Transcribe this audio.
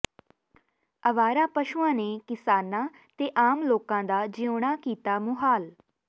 ਆਵਾਰਾ ਪਸ਼ੂਆਂ ਨੇ ਕਿਸਾਨਾਂ ਤੇ ਆਮ ਲੋਕਾਂ ਦਾ ਜਿਉਣਾ ਕੀਤਾ ਮੁਹਾਲ